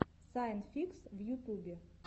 сайн фикс в ютубе